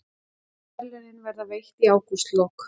Verðlaunin verða veitt í ágústlok